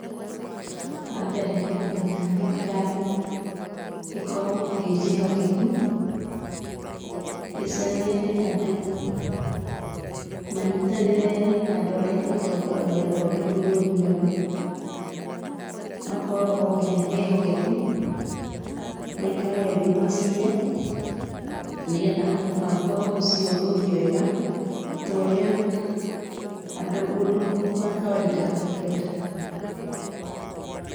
Wa mbere no ngĩnya thirikari ĩkorũo ĩnjĩhokeku, icarie andũ manyitanĩre na andũ arĩa matongoragia rũhonge rũu rwa ithurano, makorwo othe nĩ ehokeku, maikare thĩ macire na nĩgetha mũbango ũcio ũthiĩ wega torĩa mũndũ wa kawainda e kwenda.